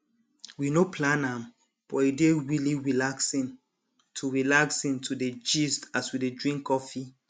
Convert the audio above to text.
we no plan am but e dey really relaxing to relaxing to dey gist as we dey drink coffee